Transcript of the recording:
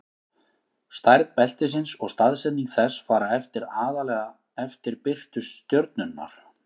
stærð beltisins og staðsetning þess fara eftir aðallega eftir birtu stjörnunnar